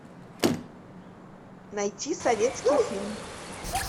найти советский фильм